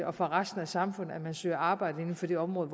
og for resten af samfundet at man søger arbejde inden for det område